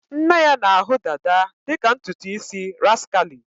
Nne ya na-ahụ dada dị ka ntutu isi rascally